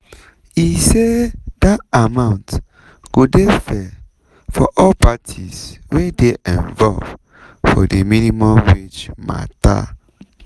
e say dat amount go dey fair for all parties wey dey involved for di minimum wage mata.